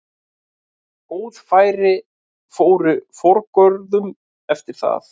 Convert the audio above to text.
Góð færi fóru forgörðum eftir það.